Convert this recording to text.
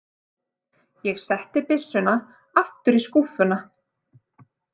Ég setti byssuna aftur í skúffuna.